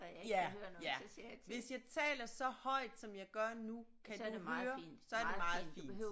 Ja ja hvis jeg taler så højt som jeg gør nu kan du høre så er det meget fint